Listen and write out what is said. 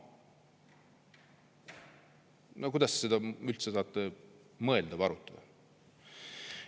No kuidas üldse on mõeldav seda arutada?!